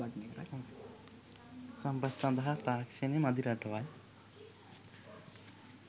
සම්පත් සඳහා තාක්ෂණය මදි රටවල්